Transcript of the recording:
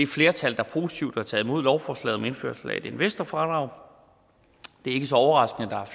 flertal der positivt har taget imod lovforslaget om indførelse af et investorfradrag det er ikke så overraskende